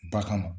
Ba kama